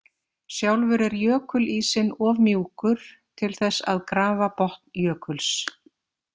Sjálfur er jökulísinn of mjúkur til þess að grafa botn jökuls.